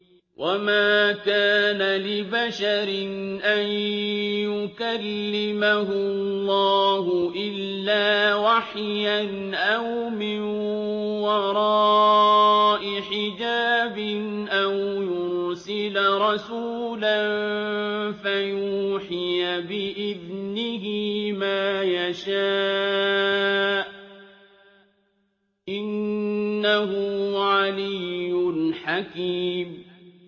۞ وَمَا كَانَ لِبَشَرٍ أَن يُكَلِّمَهُ اللَّهُ إِلَّا وَحْيًا أَوْ مِن وَرَاءِ حِجَابٍ أَوْ يُرْسِلَ رَسُولًا فَيُوحِيَ بِإِذْنِهِ مَا يَشَاءُ ۚ إِنَّهُ عَلِيٌّ حَكِيمٌ